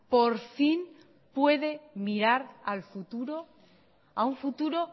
por fin puede mirar al futuro a un futuro